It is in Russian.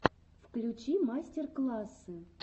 включи мастер классы